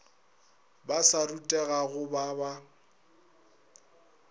ba sa rutegago ba ba